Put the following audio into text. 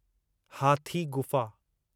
हाथी गुफ़ा